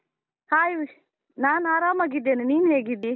Hai ವಿಶ್, ನಾನ್ ಆರಾಮಾಗಿದ್ದೇನೆ, ನೀನ್ ಹೇಗಿದ್ದೀ?